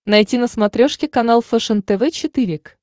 найти на смотрешке канал фэшен тв четыре к